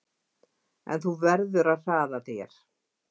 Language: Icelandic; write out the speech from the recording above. En þú verður að hraða þér!